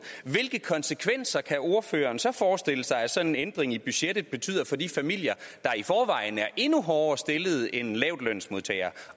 hvilke konsekvenser kan ordføreren så forestille sig at sådan en ændring i budgettet betyder for de familier der i forvejen er endnu hårdere stillet end en lavtlønsmodtager